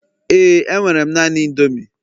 éè, enwere m naanị indomie